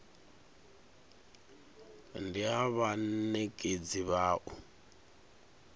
ndi ha vhanekedzi vha u